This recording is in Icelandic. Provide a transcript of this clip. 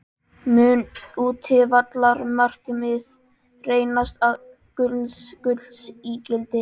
Mun útivallarmarkið reynast gulls ígildi?